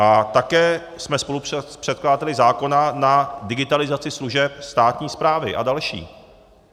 A také jsme spolupředkladateli zákona na digitalizaci služeb státní správy a dalších.